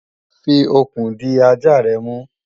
fi okùn di ajá rẹ mú!